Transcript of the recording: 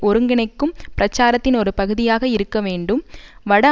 ஒருங்கிணைக்கும் பிரச்சாரத்தின் ஒரு பகுதியாக இருக்க வேண்டும் வட